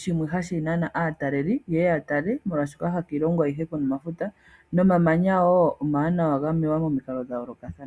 shimwe hashi nana aatalelipo, ye ya tale molwaashoka ha kiilongo oyindji ku na omafuta. Nomamanya woo omawanawa ga mewa momikalo dha yoolokathana.